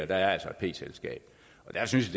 der er altså et p selskab og der synes